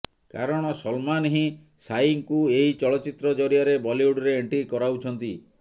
କାରଣ ସଲମାନ୍ ହିଁ ସାଇଙ୍କୁ ଏହି ଚଳଚ୍ଚିତ୍ର ଜରିଆରେ ବଲିଉଡରେ ଏଣ୍ଟ୍ରି କରାଉଛନ୍ତି